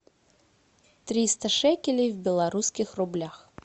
триста шекелей в белорусских рублях